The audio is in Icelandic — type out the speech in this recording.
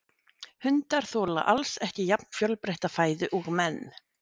Hundar þola alls ekki jafn fjölbreytta fæðu og menn.